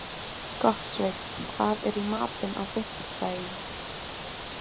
Gottsveinn, hvað er í matinn á fimmtudaginn?